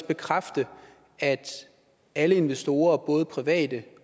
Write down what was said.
bekræfte at alle investorer både private